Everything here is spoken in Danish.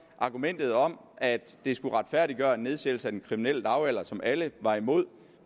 at argumentet om at det skulle retfærdiggøre en nedsættelse af den kriminelle lavalder som alle var imod